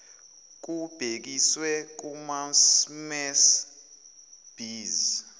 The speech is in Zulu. kubhekiswe kumasmmes bees